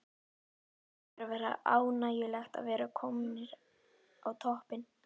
Það hlýtur að vera ánægjulegt að vera komnir á toppinn?